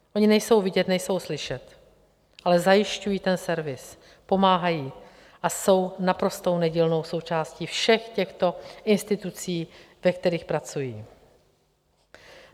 Oni nejsou vidět, nejsou slyšet, ale zajišťují ten servis, pomáhají a jsou naprosto nedílnou součástí všech těchto institucí, ve kterých pracují.